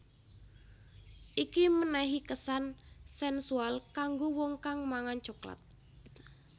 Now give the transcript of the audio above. Iki menehi kesan sensual kanggo wong kang mangan coklat